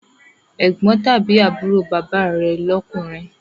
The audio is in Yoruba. Ẹ̀gbọ́n tàbí àbúrò bàbá rẹ̀ lọkunrin